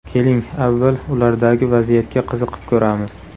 Keling, avval, ulardagi vaziyatga qiziqib ko‘ramiz.